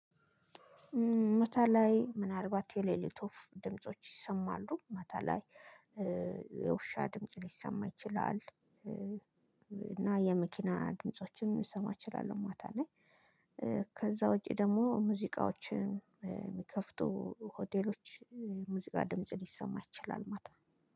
ማታ ላይ ምናልባት የሌሊት ወፍ ድምጾች ይሰማሉ ማታ ላይ። የውሻ ድምጽ ሊሰማ ይችላል እና የመኪና ድምጾችም ሊሰማ እችላለሁ ማታ ላይ። ከዛ ውጪ ደግሞ ሙዚቃዎችን የሚከፍቱ ሆቴሎች ሙዚቃ ድምጽ ሊሰማ ይችላል። ማታ